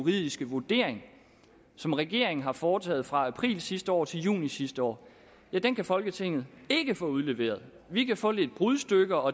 juridiske vurdering som regeringen har foretaget fra april sidste år til juni sidste år den kan folketinget ikke få udleveret vi kan få lidt brudstykker og